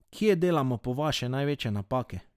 Kje delamo po vaše največje napake?